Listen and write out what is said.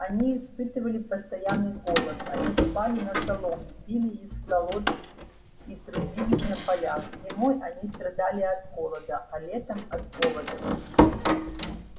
они испытывали постоянный голод они спали на соломе пили из колод и и трудились на полях зимой они страдали от холода а летом от оводов